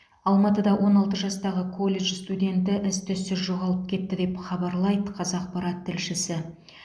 алматыда он алты жастағы колледж студенті із түзсіз жоғалып кетті деп хабарлайды қазақпарат тілшісі